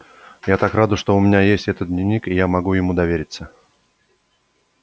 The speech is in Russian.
я так рада что у меня есть этот дневник и я могу ему довериться